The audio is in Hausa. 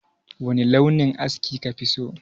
Wani launin aski ka fi so?